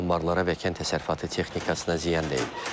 Anbarlara və kənd təsərrüfatı texnikasına ziyan deyib.